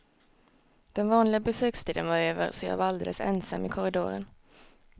Den vanliga besökstiden var över, så jag var alldeles ensam i korridoren.